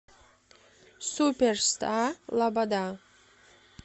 суперстар лобода